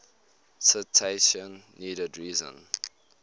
citation needed reason